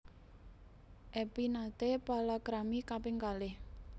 Epy naté palakrami kaping kalih